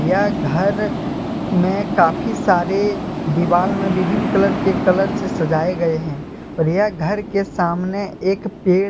यह घर में काफी सारे दीवाल में विभिन्न कलर के कलर से सजाए गए हैं और यह घर के सामने एक पेड़--